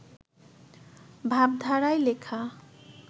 ভাবধারায় লেখা